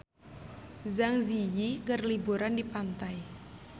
Zang Zi Yi keur liburan di pantai